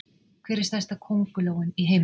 Hver er stærsta köngulóin í heiminum?